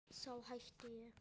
Þá hætti ég.